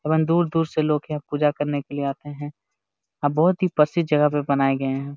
एवं दूर-दूर से लोग यहाँ पूजा करने के लिए आते है बहुत ही प्रसिद्ध जगह पे बनाये गए है।